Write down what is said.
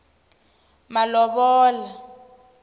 malovola